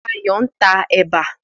Fayọ̀ ń ta ẹ̀bà.